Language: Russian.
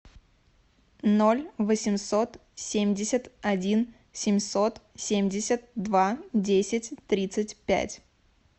ноль восемьсот семьдесят один семьсот семьдесят два десять тридцать пять